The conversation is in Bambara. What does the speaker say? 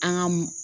An ka m